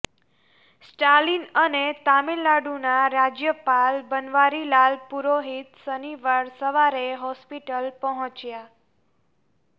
સ્ટાલિન અને તામિલનાડુના રાજ્યપાલ બનવારીવાલ પુરોહિત શનિવાર સવારે હોસ્પિટલ પહોંચ્યા